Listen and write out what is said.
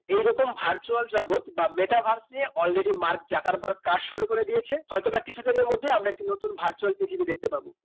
এই রকম virtual জগৎ বা metabase নিয়ে already মার্ক জাকারবার্গ কাজ শুরু করে দিয়েছে হয়তো বা কিছু দিনে মধ্যে আমরা একটি virtual পৃথিবী দেখতে পাবো